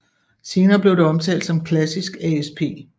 Senere blev det omtalt som klassisk ASP